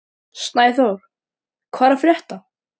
Snæþór, hvað er að frétta?